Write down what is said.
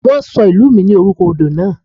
Wọ́n ṣọ ìlú mi ní orúkọ odò náà.